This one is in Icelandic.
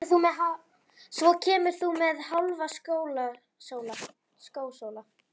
Svo kemur þú með Hálfa skósóla.